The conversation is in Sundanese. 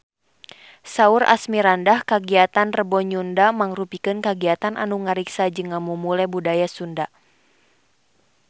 Saur Asmirandah kagiatan Rebo Nyunda mangrupikeun kagiatan anu ngariksa jeung ngamumule budaya Sunda